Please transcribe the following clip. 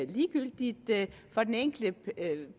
ligegyldigt for den enkelte